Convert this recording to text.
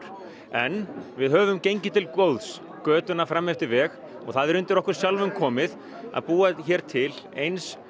en við höfum gengið til góðs götuna fram eftir veg og það er undir okkur sjálfum komið að búa hér til eins